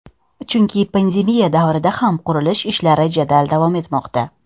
Chunki pandemiya davrida ham qurilish ishlari jadal davom etmoqda.